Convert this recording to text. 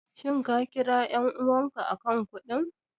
Shin ka kira ƴar'uwarka a kan kuɗin?